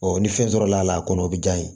ni fɛn sɔrɔla la a kɔnɔ o bɛ diya n ye